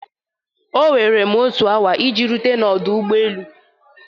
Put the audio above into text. Oweere m otu awa iji rute n'ọdụ ụgbọ elu.